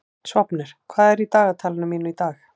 Sváfnir, hvað er í dagatalinu mínu í dag?